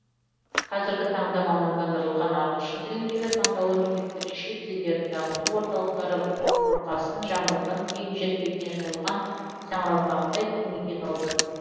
қазіргі таңда мамандандырылған ағылшын тіліндегі таңдаулы мектептер шет тілдерін дамыту орталықтары бұрқасын жаңбырдан кейін жер бетіне жайылған саңырауқұлақтай кең етек алды